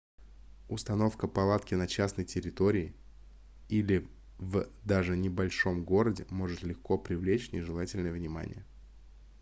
установка палатки на частной территории или в даже небольшом городе может легко привлечь нежелательное внимание